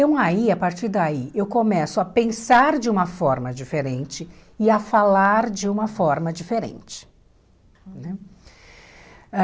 Então aí, a partir daí, eu começo a pensar de uma forma diferente e a falar de uma forma diferente ãh.